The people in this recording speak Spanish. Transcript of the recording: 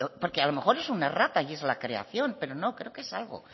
porque a lo mejor es una errata y es la creación pero no creo que es algo